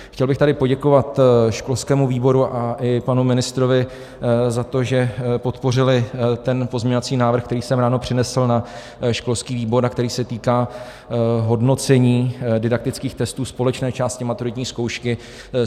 Chtěl bych tady poděkovat školskému výboru a i panu ministrovi za to, že podpořili ten pozměňovací návrh, který jsem ráno přinesl na školský výbor a který se týká hodnocení didaktických testů společné části maturitní zkoušky.